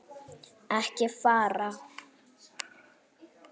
Ekki fara.